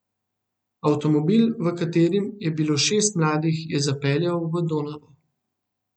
Avtomobil, v katerem je bilo šest mladih, je zapeljal v Donavo.